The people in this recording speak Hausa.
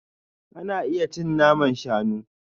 Ana iya cin naman shanu.